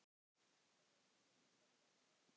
kynni einhver að spyrja.